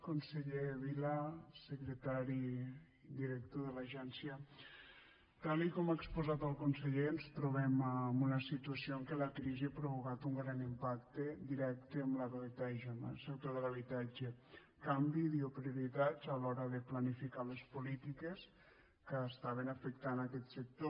conseller vila secretari i director de l’agència tal com ha exposat el conseller ens trobem amb una situació en què la crisi ha provocat un gran impacte directe en la realitat del sector de l’habitatge canvi de prioritats a l’hora de planificar les polítiques que estaven afectant aquest sector